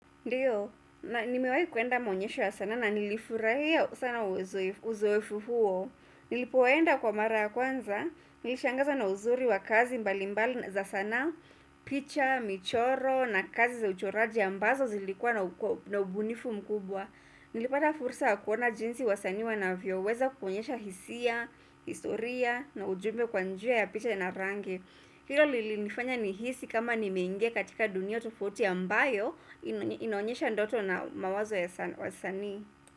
Ndiyo, na nimewahi kwenda maonyesho ya sanaa na nilifurahia sana uzoefu huo. Nilipoenda kwa mara ya kwanza, nilishangazwa na uzuri wa kazi mbalimbali za sanaa, picha, michoro na kazi za uchoraji ambazo zilikuwa na ubunifu mkubwa. Nilipata fursa wa kuona jinsi wasanii wanavyoweza kuonyesha hisia, historia na ujumbe kwa njia ya picha ya na rangi. Hilo lilinifanya nihisi kama nimeingia katika dunia tofauti ambayo inaonesha ndoto na mawazo ya wasanii.